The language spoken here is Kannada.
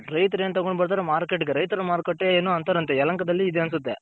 ರೈತರ್ ಏನ್ ತಗೊನ್ ಬರ್ತಾರೋ Market ಗೆ ರೈತರ ಮಾರುಕಟ್ಟೆ ಏನೋ ಅಂತರಂತೆ ಯಲಹಂಕ ದಲ್ಲಿ ಇದೆ ಅನ್ಸುತ್ತೆ.